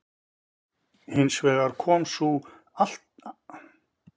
Hins vegar kom sú afturhaldssama nýjung í skáldskap